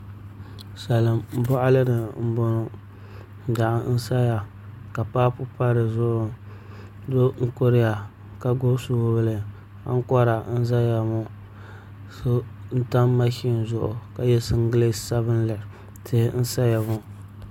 Salin boɣali ni n boŋo daɣu n saya ka paapu pa dizuɣu doo n kuriya ka gbubi soobuli ankora n ʒɛya ŋo so n tam mashin zuɣu ka yɛ singirɛti sabinli tihi n saya ŋo